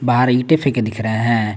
बाहर ईटे फीके दिख रहे है।